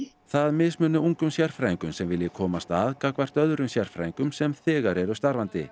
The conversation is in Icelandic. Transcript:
það mismuni ungum sérfræðingum sem vilji komast að gagnvart öðrum sérfræðingum sem þegar eru starfandi